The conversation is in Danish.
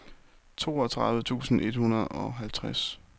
toogtredive tusind et hundrede og halvtreds